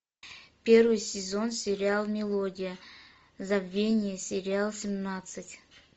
первый сезон сериал мелодия забвение сериал семнадцать